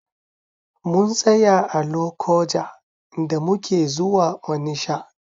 Mun tsaya a Lokoja da muke zuwa Onisha.